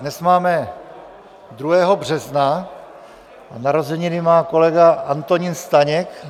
Dnes máme 2. března a narozeniny má kolega Antonín Staněk.